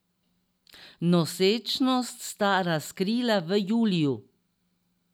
Nosečnost sta razkrila v juliju.